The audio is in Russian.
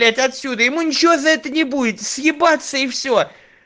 отсюда ему ничего за это не будет съебаться и все